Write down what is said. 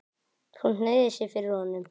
Hún hneigir sig fyrir honum.